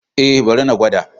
Eh bari na gwada.